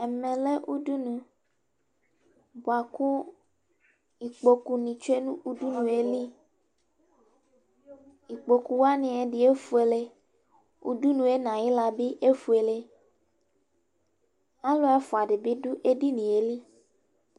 Ɛmɛ lɛ udunu bʋa kʋ ikpoku nɩ tsue nʋ udunue liKpoku wanɩ, ɛdɩ efuele, udunu yɛ n' ayɩɣla bɩ efueleAlʋ ɛfʋa dɩ bɩ dʋ edinie li